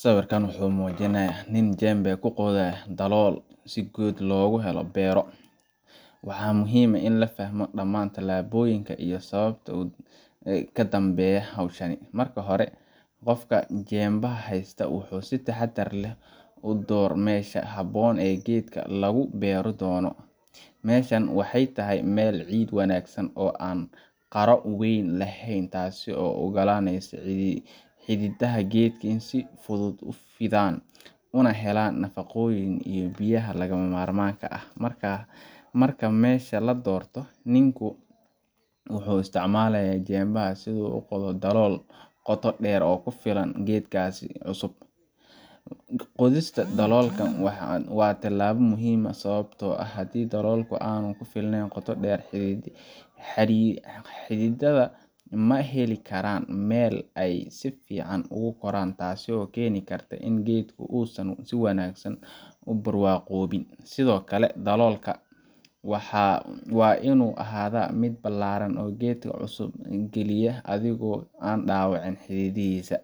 sawirka waxuu muujinaya nin jembe ku qodayo dalool si geed loogu beero, waxa muhiim ah in la fahmo dhammaan tallaabooyinka iyo sababaha ka dambeeya hawshan. Marka hore, qofka jembaha haysta wuxuu si taxadar leh u doortaa meesha ku habboon ee geedka lagu beeri doono. Meeshan waxay tahay meel leh ciid wanaagsan, oo aan qaro weyn lahayn, taas oo u ogolaanaysa xididdada geedka inay si fudud u fidaan una helaan nafaqooyinka iyo biyaha lagama maarmaanka u ah. Marka meesha la doorto, ninku wuxuu isticmaalayaa jembaha si uu u qodo dalool qoto dheer oo ku filan geedka cusub. Qodista daloolka waa tallaabo muhiim ah, sababtoo ah haddii daloolku aanu ku filnayn qoto dheer, xididdada geedka ma heli karaan meel ay si fiican ugu koraan, taasoo keeni karta in geedku uusan si wanaagsan u barwaaqoobin. Sidoo kale, daloolka waa inuu ahaadaa mid ballaaran si geedka cusub loo geliyo adigoo aan dhaawicin xididdada.